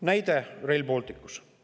Näide Rail Balticu kohta.